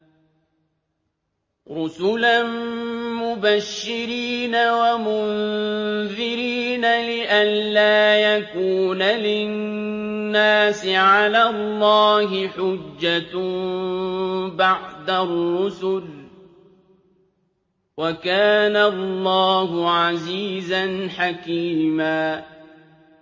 رُّسُلًا مُّبَشِّرِينَ وَمُنذِرِينَ لِئَلَّا يَكُونَ لِلنَّاسِ عَلَى اللَّهِ حُجَّةٌ بَعْدَ الرُّسُلِ ۚ وَكَانَ اللَّهُ عَزِيزًا حَكِيمًا